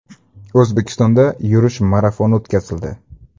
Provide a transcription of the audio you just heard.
O‘zbekistonda yurish marafoni o‘tkazildi.